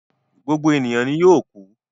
Gbogbo eniyan ni yoo kú